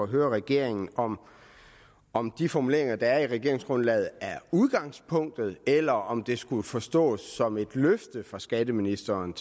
høre regeringen om om de formuleringer der er i regeringsgrundlaget er udgangspunktet eller om de skal forstås som et løfte fra skatteministeren